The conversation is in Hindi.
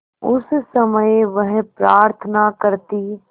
उस समय वह प्रार्थना करती